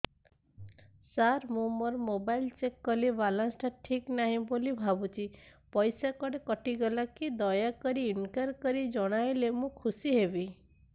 ସାର ମୁଁ ମୋର mobile check କଲି ବାଲାନ୍ସ ଟା ଠିକ ନାହିଁ ବୋଲି ଭାବୁଛି ପଇସା କୁଆଡେ କଟି ଗଲା କି ଦୟାକରି ଇନକ୍ୱାରି କରି ଜଣାଇଲେ ମୁଁ ଖୁସି ହେବି